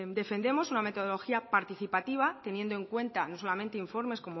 defendemos una metodología participativa teniendo en cuenta no solamente informes